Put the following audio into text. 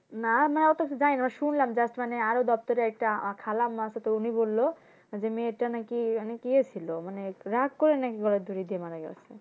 না না ওটা তো জানিনা শুনলাম just মানে আরও দপ্তরে একটা খালাম্মা আছে তো উনি বললো যে মেয়েটা নাকি অনেক ইয়ে ছিল মানে রাগ করে নাকি গলায় দড়ি দিয়ে মারা গেছে